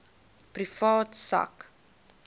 privaat sak